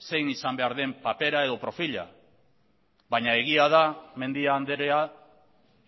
zein izan behar den papera edo profila baina egia da mendia andrea